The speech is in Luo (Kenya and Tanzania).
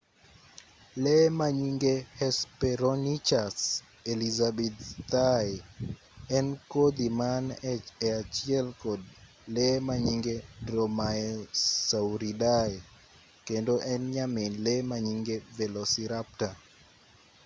lee manyinge hesperonychus elizabethae en kodhi man e achiel kod lee manyinge dromaeosauridae kendo en nyamin lee manyinge velociraptor